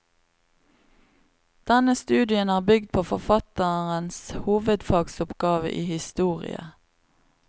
Denne studien er bygd på forfatterens hovedfagsoppgave i historie.